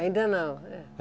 Ainda não.